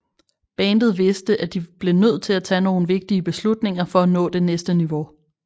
Bandet vidste at de blev nødt til at tage nogle vigtige beslutninger for at nå det næste niveau